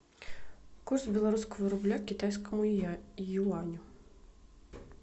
курс белорусского рубля к китайскому юаню